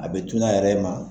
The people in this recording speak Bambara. A bɛ tunun a yɛrɛ ma.